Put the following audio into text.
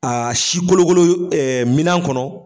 si kolokolo minan kɔnɔ.